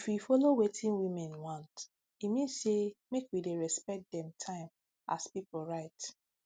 if we follow join wetin women want e mean say make we dey respect dem time as pipu right